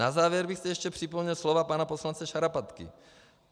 Na závěr bych zde ještě připomněl slova pana poslance Šarapatky.